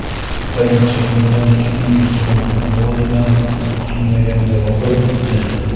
Bir necha kundan so‘ng esa volidam kutilmaganda vafot etdi.